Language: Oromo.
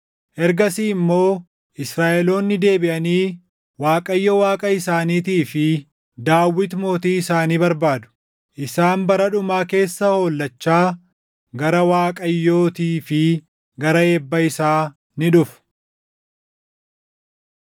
Ergasii immoo Israaʼeloonni deebiʼanii Waaqayyo Waaqa isaaniitii fi Daawit mootii isaanii barbaadu. Isaan bara dhumaa keessa hollachaa gara Waaqayyootii fi gara eebba isaa ni dhufu.